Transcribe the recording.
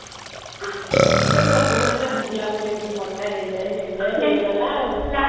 ସେ ତ ସବୁବେଳେ ଘାରୁଥିଲା ମୁ କେମିତେ ମୋଟା ହେଇଯାଏ ହେଇଯାଏ ହେଇଗଲା ଆଉ